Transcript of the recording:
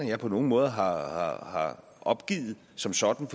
jeg på nogen måde har har opgivet som sådan